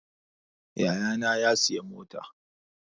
Yayana ya sayi mota